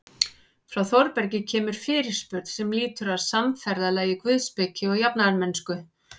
Frá Þórbergi kemur fyrirspurn sem lýtur að samferðalagi guðspeki og jafnaðarmennsku.